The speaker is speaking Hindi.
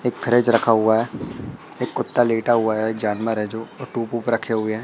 एक फ्रिज रखा हुआ है एक कुत्ता लेटा हुआ है जानवर है रखे हुए हैं।